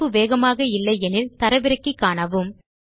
இணைப்பு வேகமாக இல்லை எனில் தரவிறக்கி காணுங்கள்